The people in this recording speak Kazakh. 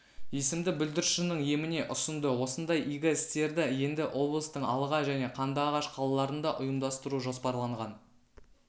есімді бүлдіршіннің еміне ұсынды осындай игі істерді енді облыстың алға және қандыағаш қалаларында ұйымдастыру жоспарланған